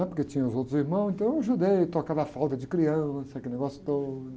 né? Porque tinham os outros irmãos, então eu ajudei, trocava a falta de criança, aquele negócio todo.